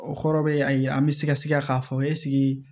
O kɔrɔ be a ye an be sɛgɛsɛgɛ k'a fɔ ɛseke